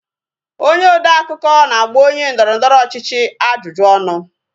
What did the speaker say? Onye odeakụkọ na-agba onye ndọrọndọrọ ọchịchị ajụjụ ọnụ